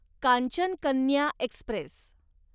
Kanchan Kanya Express